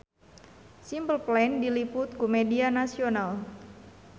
Simple Plan diliput ku media nasional